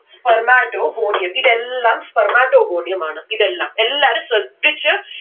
spermatogonium ഇതെല്ലം spermatogonium ആണ്. ഇതെല്ലം എല്ലാരും ശ്രദ്ധിച്ച്